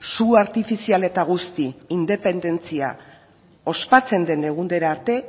su artifizial eta guzti independentzia ospatzen den egunera arte